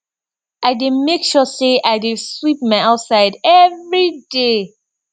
i dey mek sure say i dey sweep my outside evri day